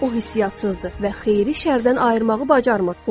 O hissiyatsızdır və xeyri şərdən ayırmağı bacarmır.